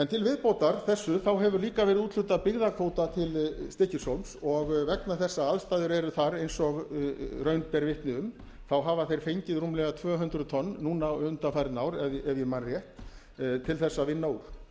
til viðbótar þessu hefur líka verið úthlutað byggðakvóta til stykkishólms og vegna þess að aðstæður eru þar eins og raun ber vitni um hafa þeir fengið rúmlega tvö hundruð tonn núna undanfarin ár ef ég man rétt til þess að vinna úr